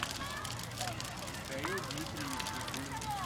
михаил дмитриевич никулин